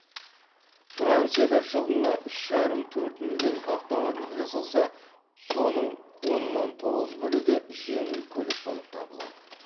францияда жылына үш жарым төрт миллион автомобиль жасалса соның оннан тоғыз бөлігі жеңіл көлік болып табылады